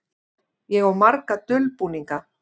Ég á marga dulbúninga.